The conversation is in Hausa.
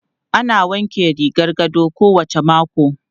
Ana wanke rigar gado kowacce mako.